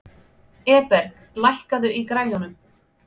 Eberg, lækkaðu í græjunum.